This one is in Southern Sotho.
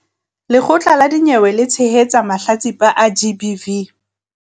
Lekgotla la dinyewe le tshehetsa mahlatsipa a GBV.